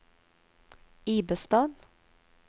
Ibestad